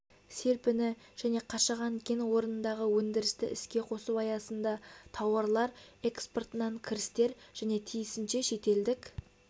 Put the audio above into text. серпіні және қашаған кен орнындағы өндірісті іске қосу аясында тауарлар экспортынан кірістер және тиісінше шетелдік